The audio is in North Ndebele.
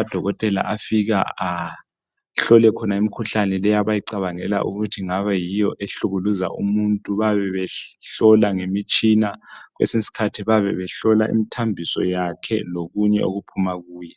odokotela abahlola khona imikhuhlane abacabangela ukuthi kungabe kuyiyo ehlukumeza umuntu bayabe behlola ngemitshina kwesinye isikhathi bayabe hlola imithambiso yakhe lokunye okuphuma kuye.